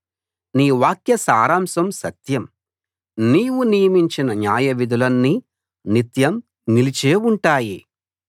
నీ వాక్య సారాంశం సత్యం నీవు నియమించిన న్యాయవిధులన్నీ నిత్యం నిలిచే ఉంటాయి